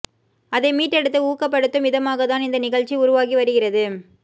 அதை மீட்டெடுத்து ஊக்கப்படுத்தும் விதமாகத்தான் இந்த நிகழ்ச்சி உருவாகி வருகிறது